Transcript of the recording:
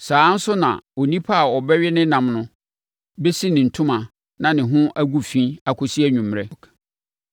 Saa ara nso na onipa a ɔbɛwe ne ɛnam no bɛsi ne ntoma na ne ho agu fi akɔsi anwummerɛ.